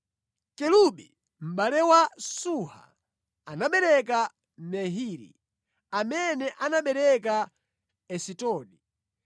Kelubi, mʼbale wa Suha, anabereka Mehiri, amene anabereka Esitoni.